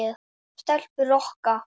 Stelpur Rokka!